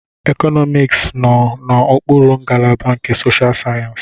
Economics nọ n'okpuru ngalaba nke Social Sciences.